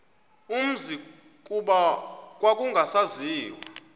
umzi kuba kwakungasaziwa